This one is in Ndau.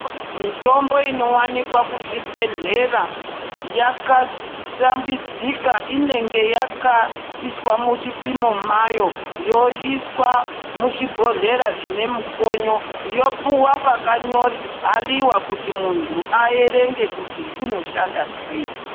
Mitombo inowanikwa kuzvibhehlera yakashambidzika inenge yakaiswa muchipimo mwayo yoiswa muzvibhohlera zvinemikonyo yopuwa pakanyo bhaliwa kuti muntu aerenge kuti unoshanda sei .